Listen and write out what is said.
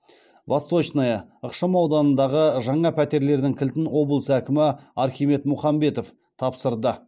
восточная ықшамауданындағы жаңа пәтерлердің кілтін облыс әкімі архимед мұхамбетов тапсырды